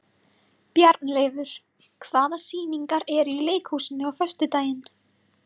Bjarnleifur, hvaða sýningar eru í leikhúsinu á föstudaginn?